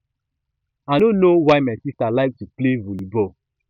i no know why my sister like to play volley ball